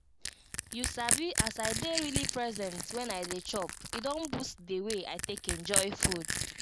you sabi as i dey really present when i dey chop e don boost the way i take enjoy food.